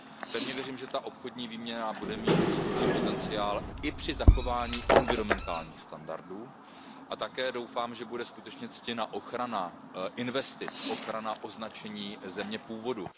Pevně věřím, že ta obchodní výměna bude mít rostoucí potenciál i při zachování environmentálních standardů, a také doufám, že bude skutečně ctěna ochrana investic, ochrana označení země původu.